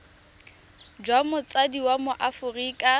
jwa motsadi wa mo aforika